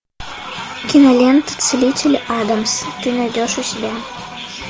кинолента целитель адамс ты найдешь у себя